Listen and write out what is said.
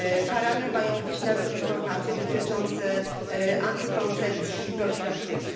Karane mają być nawet informacje dotyczące antykoncepcji i profilaktyki.